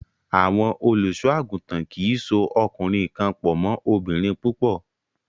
Àwọn olùṣọ́-àgùntàn kì í so ọkùnrin kan pọ̀ mọ́ obìnrin púpọ̀.